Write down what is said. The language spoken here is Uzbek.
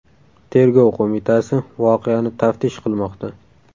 Tergov qo‘mitasi voqeani taftish qilmoqda.